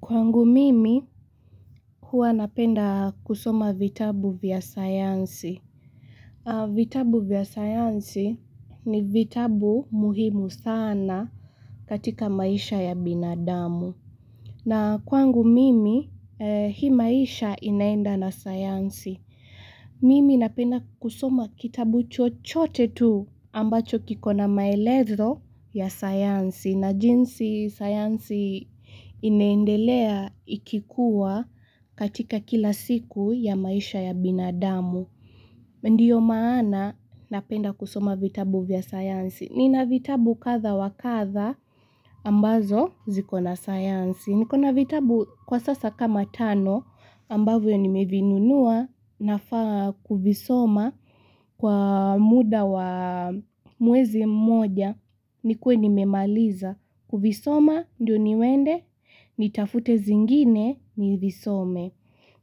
Kwangu mimi, huwa napenda kusoma vitabu vya sayansi. Vitabu vya sayansi ni vitabu muhimu sana katika maisha ya binadamu. Na kwangu mimi, hii maisha inaenda na sayansi. Mimi napenda kusoma kitabu chochote tu ambacho kikona maelezo ya sayansi. Na jinsi sayansi inaendelea ikikuwa katika kila siku ya maisha ya binadamu. Ndiyo maana napenda kusoma vitabu vya sayansi. Nina vitabu kadha wa kadha ambazo zikona sayansi. Nikona vitabu kwa sasa kama tano ambavyo nimevinunua nafaa kuvisoma kwa muda wa mwezi moja. Nikue nimemaliza, kuvisoma ndio niende? Nitafute zingine nivisome.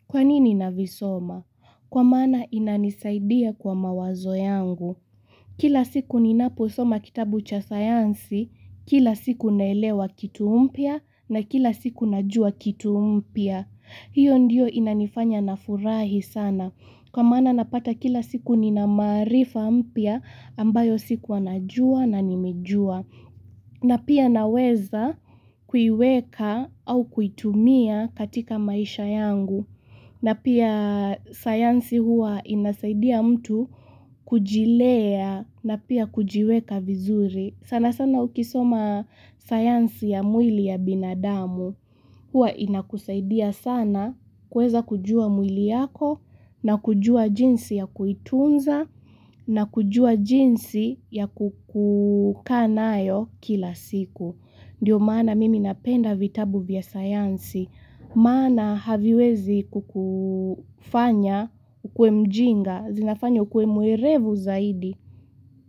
Kwa nini navisoma? Kwa maana inanisaidia kwa mawazo yangu. Kila siku ninaposoma kitabu cha sayansi, kila siku naelewa kitu mpya na kila siku najua kitu mpya. Hiyo ndio inanifanya nafurahi sana. Kwa maana napata kila siku nina maarifa mpya ambayo sikuwa najua na nimejua. Na pia naweza kuiweka au kuitumia katika maisha yangu. Na pia sayansi huwa inasaidia mtu kujilea na pia kujiweka vizuri. Sana sana ukisoma sayansi ya mwili ya binadamu, huwa inakusaidia sana kuweza kujua mwili yako na kujua jinsi ya kuitunza na kujua jinsi ya kukaa nayo kila siku. Ndiyo maana mimi napenda vitabu vya sayansi, maana haviwezi kukufanya hukue mjinga, zinafanya hukue mwerevu zaidi.